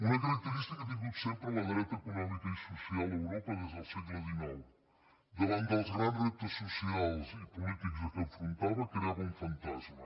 una característica ha tingut sempre la dreta econò·mica i social a europa des del segle xix davant dels grans reptes socials i polítics a què s’enfrontava creava un fantasma